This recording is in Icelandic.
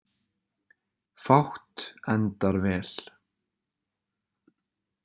Fátt endar vel.